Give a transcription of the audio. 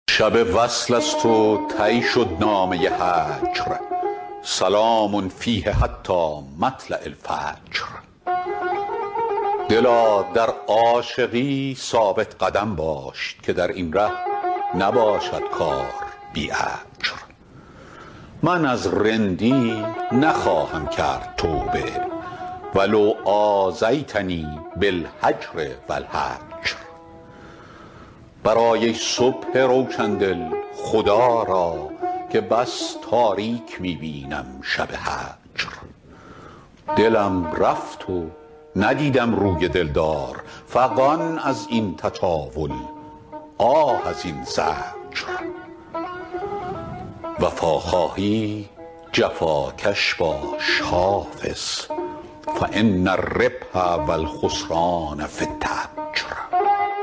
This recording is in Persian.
شب وصل است و طی شد نامه هجر سلام فیه حتی مطلع الفجر دلا در عاشقی ثابت قدم باش که در این ره نباشد کار بی اجر من از رندی نخواهم کرد توبه و لو آذیتنی بالهجر و الحجر برآی ای صبح روشن دل خدا را که بس تاریک می بینم شب هجر دلم رفت و ندیدم روی دل دار فغان از این تطاول آه از این زجر وفا خواهی جفاکش باش حافظ فان الربح و الخسران في التجر